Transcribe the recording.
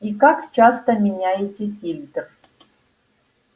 и как часто меняете фильтр